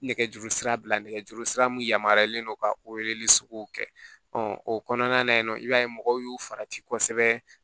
Nɛgɛjuru sira bila nɛgɛjuru sira mun yamaruyalen don ka kɛ ɔ kɔnɔna na yen nɔ i b'a ye mɔgɔw y'u farati kosɛbɛ